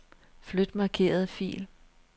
Flyt markerede fil.